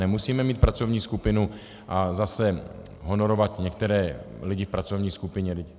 Nemusíme mít pracovní skupinu a zase honorovat některé lidi v pracovní skupině.